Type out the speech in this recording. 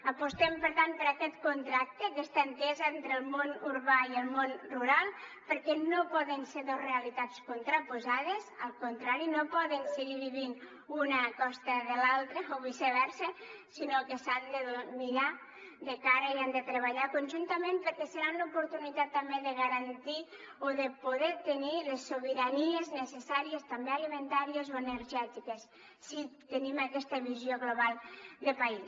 apostem per tant per aquest contracte aquesta entesa entre el món urbà i el món rural perquè no poden ser dos realitats contraposades al contrari no poden seguir vivint una a costa de l’altra o viceversa sinó que s’han de mirar de cara i han de treballar conjuntament perquè serà una oportunitat també de garantir o de poder tenir les sobiranies necessàries també alimentàries o energètiques si tenim aquesta visió global de país